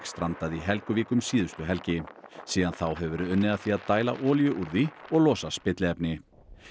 strandaði í Helguvík um síðustu helgi síðan þá hefur verið unnið að því að dæla olíu úr því og losa spilliefni